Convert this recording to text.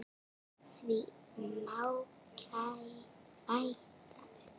Því má bæta upp